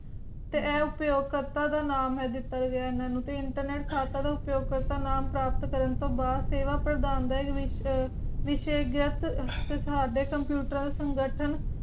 ਤੇ ਇਹ ਅਹ ਅਪਯੋਕ ਕਰਤਾ ਦਾ ਨਾਮੁ ਦਿੱਤੋ ਗਿਆ ਐਨਾ ਨੂੰ ਤੇ internet ਲਹਾਤਾ ਦਾ ਅਪਯੋਕਰ ਦਾ ਨਾਮੁ ਪ੍ਰਾਪਤ ਕਾਰਨ ਤੂੰ ਬਾਅਦ ਸੇਵਾ ਪ੍ਰਦਾਨ ਐਦ੍ਹੇ ਵਿਚ ਵਿਸ਼ਾਸਹਿ ਦਿੱਤਾ ਤੇ ਸਾਥ computer ਦਾ ਸੰਗਰਤਾਂ